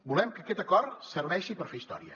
volem que aquest acord serveixi per fer història